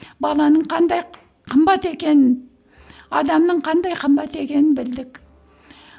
баланың қандай қымбат екенін адамның қандай қымбат екенін білдік